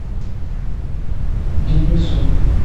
денису